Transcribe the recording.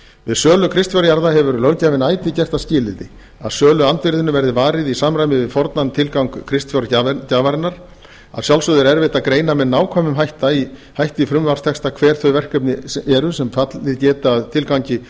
við sölu kristfjárjarða hefur löggjafinn ætíð gert það skilyrði að söluandvirðinu verði varið í samræmi við fornan tilgang kristfjárgjafarinnar að sjálfsögðu er erfitt að greina með nákvæmum hætti í frumvarpstexta hver þau verkefni eru sem fallið geti að tilgangi